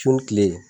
Su ni kile